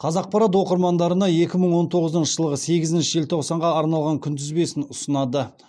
қазақпарат оқырмандарына екі мың он тоғызыншы жылғы сегізінші желтоқсанға арналған күнтізбесін ұсынады